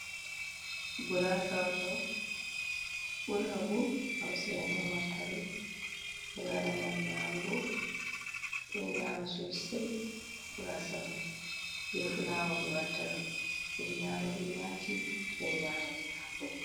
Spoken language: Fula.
Gurasa on ɗo. Ɓurnaɓu hausa en on wattaɗum. Ɓe waɗa ngam nyamugo. Ɓe ɗo nyama sosai, gurasamai. Ɓe fulawo be wattaɗum. Ɓe ɗo nyama ɓe yaji, ɓe ɗ nyama ɓe hako.